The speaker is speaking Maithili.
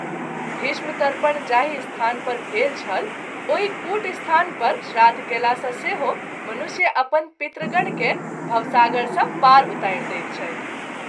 भीष्म तर्पण जाहि स्थान पर भेल छल ओहि कूट स्थान पर श्राद्ध कएला सँ सेहो मनुष्य अपन पितृगण के भवसागर सँ पार उतारि दैत छथि।